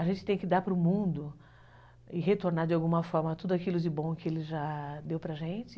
A gente tem que dar para o mundo e retornar de alguma forma tudo aquilo de bom que ele já deu para a gente.